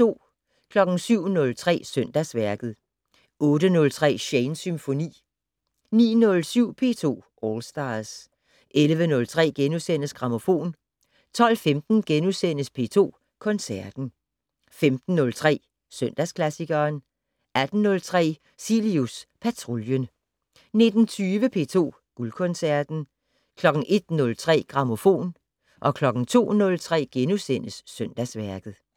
07:03: Søndagsværket 08:03: Shanes Symfoni 09:07: P2 All Stars 11:03: Grammofon * 12:15: P2 Koncerten * 15:03: Søndagsklassikeren 18:03: Cilius Patruljen 19:20: P2 Guldkoncerten 01:03: Grammofon 02:03: Søndagsværket *